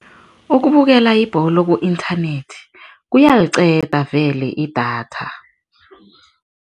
Ukubukela ibholo ku-internet kuyaliqeda vele idatha.